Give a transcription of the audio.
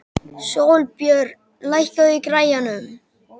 Sólbjörn, lækkaðu í græjunum.